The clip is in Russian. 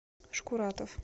шкуратов